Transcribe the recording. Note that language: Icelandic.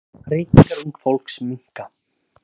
Reykingar ungs fólks minnka.